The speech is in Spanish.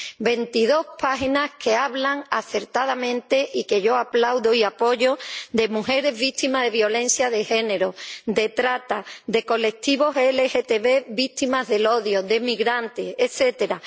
Veintidós páginas que hablan acertadamente —y que yo aplaudo y apoyo— de mujeres víctimas de violencia de género, de trata, de colectivos LGTB víctimas del odio, de migrantes, etcétera.